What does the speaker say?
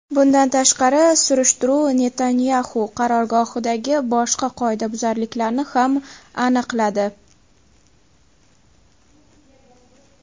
Bundan tashqari, surishtiruv Netanyaxu qarorgohidagi boshqa qoidabuzarliklarni ham aniqladi.